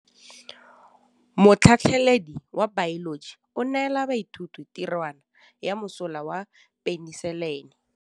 Motlhatlhaledi wa baeloji o neela baithuti tirwana ya mosola wa peniselene.